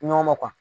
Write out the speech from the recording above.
Ɲɔgɔn ma